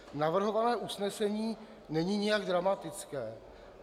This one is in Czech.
Navrhované usnesení není nijak dramatické.